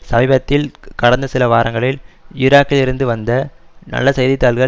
சமீபத்தில் கடந்த சிலவாரங்களில் ஈராக்கிலிருந்த வந்த நல்ல செய்தி தாள்கள்